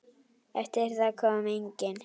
Eftir það kom enginn.